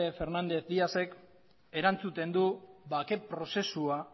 fernández díaz ek erantzuten du bake prozesua